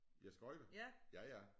Ja skøjte ja ja